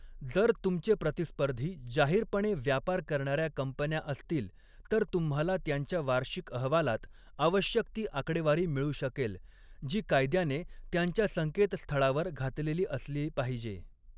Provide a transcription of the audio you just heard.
जर तुमचे प्रतिस्पर्धी जाहीरपणे व्यापार करणाऱ्या कंपन्या असतील, तर तुम्हाला त्यांच्या वार्षिक अहवालात आवश्यक ती आकडेवारी मिळू शकेल, जी कायद्याने त्यांच्या संकेतस्थळावर घातलेली असली पाहिजे.